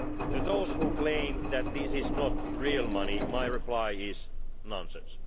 To those who claim that this is not ʽrealʼ money, my reply is nonsense.